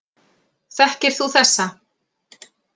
Þekkir þú þessa